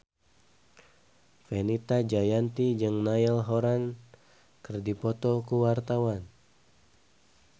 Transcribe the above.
Fenita Jayanti jeung Niall Horran keur dipoto ku wartawan